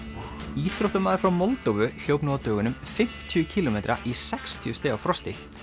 íþróttamaður frá Moldóvu hljóp nú á dögunum fimmtíu kílómetra í sextíu stiga frosti